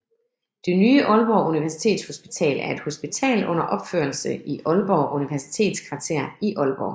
Det nye Aalborg Universitetshospital er et hospital under opførelse i Aalborg Universitetskvarter i Aalborg